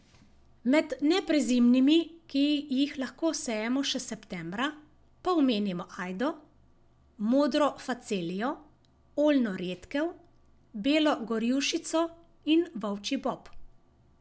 Med neprezimnimi, ki jih lahko sejemo še septembra, pa omenimo ajdo, modro facelijo, oljno redkev, belo gorjušico in volčji bob.